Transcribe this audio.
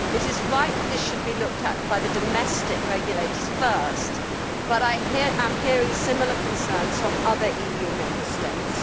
It is right that this should be looked at by the domestic regulators first, but I am hearing similar concerns from other EU Member States.